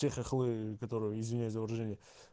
те хохлы которые извиняюсь за выражение